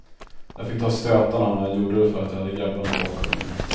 Jag fick ta stötarna, men jag gjorde det för att jag hade grabbarna bakom mig.